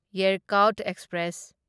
Yercaud express